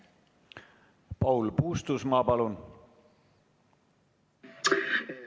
Paul Puustusmaa, palun!